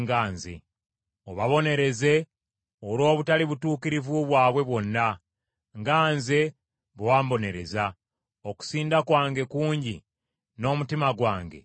“Obabonereze olw’obutali butuukirivu bwabwe bwonna, nga nze bwe wambonereza. Okusinda kwange kungi n’omutima gwange guzirika.”